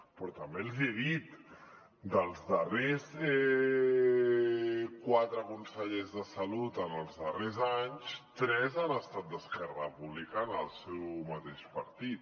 però també els hi he dit dels darrers quatre consellers de salut en els darrers anys tres han estat d’esquerra republicana el seu mateix partit